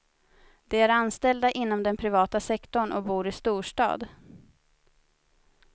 De är anställda inom den privata sektorn och bor i storstad.